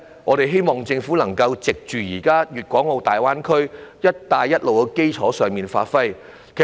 我們希望政府能夠在現時粤港澳大灣區、"一帶一路"的基礎上加以發揮。